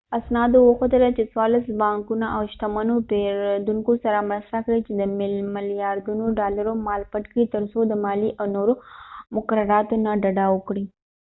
اسنادو وښودله چې څوارلس بانکونو د شتمنو پیرودونکو سره مرسته کړې چې د ملیاردونو ډالرو مال پټ کړی ترڅو د مالیې او نورو مقرراتو نه ډډه وکړي